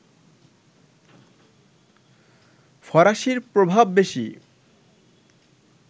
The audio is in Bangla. ফরাসির প্রভাব বেশি